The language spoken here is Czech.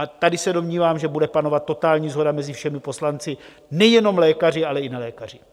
A tady se domnívám, že bude panovat totální shoda mezi všemi poslanci, nejenom lékaři, ale i nelékaři.